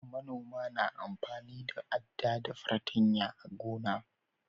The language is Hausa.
manoma na amfani da adda da patanya a gona